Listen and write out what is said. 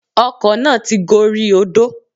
Ọkọ̀ náà ti gorí odó